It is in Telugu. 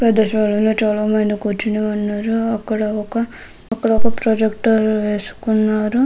పెద్ద స్థలం లో చాలా మంది కూర్చొని ఉన్నారు అక్కడ ఒక అక్కడొక ప్రొజెక్టర్ వేసుకున్నారు.